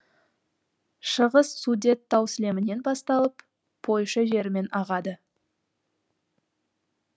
шығыс судет тау сілемінен басталып польша жерімен ағады